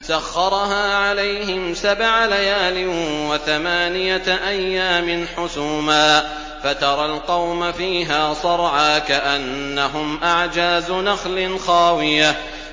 سَخَّرَهَا عَلَيْهِمْ سَبْعَ لَيَالٍ وَثَمَانِيَةَ أَيَّامٍ حُسُومًا فَتَرَى الْقَوْمَ فِيهَا صَرْعَىٰ كَأَنَّهُمْ أَعْجَازُ نَخْلٍ خَاوِيَةٍ